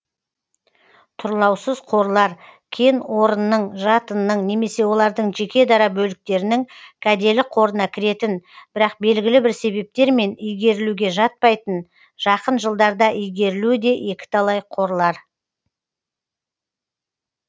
тұрлаусыз қорлар кен орынның жатынның немесе олардың жеке дара бөліктерінің кәделі қорына кіретін бірақ белгілі бір себептермен игерілуге жатпайтын жақын жылдарда игерілуі де екіталай қорлар